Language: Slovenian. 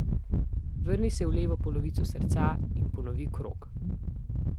Vrni se v levo polovico srca in ponovi krog.